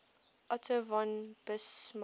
otto von bismarck